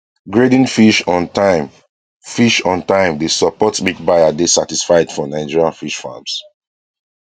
grading fish on time fish on time dey support make buyer dey satisfied for nigerian fish farms